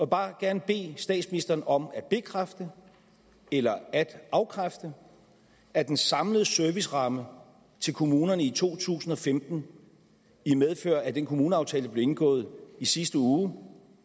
bare gerne bede statsministeren om at bekræfte eller at afkræfte at den samlede serviceramme til kommunerne i to tusind og femten i medfør af den kommuneaftale der blev indgået i sidste uge